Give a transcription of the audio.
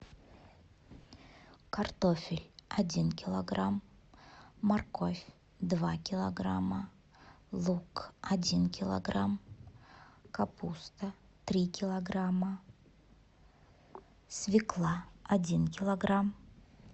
картофель один килограмм морковь два килограмма лук один килограмм капуста три килограмма свекла один килограмм